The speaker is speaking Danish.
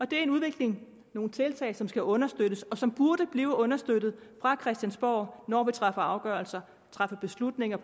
det er en udvikling nogle tiltag som skal understøttes og som burde blive understøttet fra christiansborg når vi træffer afgørelser træffer beslutninger